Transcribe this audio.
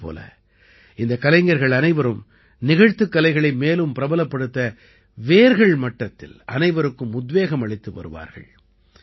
அதே போல இந்தக் கலைஞர்கள் அனைவரும் நிகழ்த்துக் கலைகளை மேலும் பிரபலப்படுத்த வேர்கள் மட்டத்தில் அனைவருக்கும் உத்வேகம் அளித்து வருவார்கள்